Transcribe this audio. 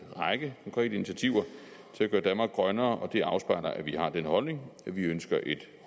række konkrete initiativer til at gøre danmark grønnere og det afspejler at vi har den holdning at vi ønsker et